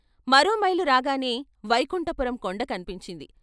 మరో మైలురాగానే వైకుంఠపురం కొండ కన్పించింది...